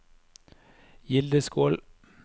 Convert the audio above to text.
Gildeskål